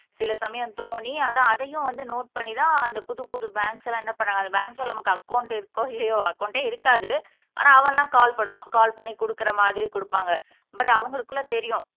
சில சமயம் தோணி அதான் அதையும் வந்து நோட் பண்ணிதான் அந்த புது புது பேங்க்ஸ் எல்லாம் என்ன பண்ணாங்க அந்த பேங்க்ல நமக்கு அக்கௌன்ட் இருக்கோ இல்லையோ அக்கௌன்ட்டே இருக்காது ஆனா அவன்லாம் கால் பண்ணுவான் கால் பண்ணி குடுக்குற மாதிரி குடுப்பாங்க பட் அவங்களுக்குள்ள தெரியும்